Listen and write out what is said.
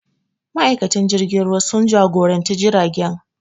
Ma'aikatan jirgin ruwa sun jagora jiragen